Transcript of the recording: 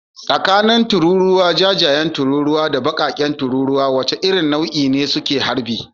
Tsakanin tururuwa jajayen tururuwa da bakar tururuwa, wace irin nau'in ne suke harbi?